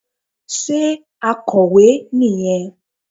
Sé akọ̀wé nì yẹn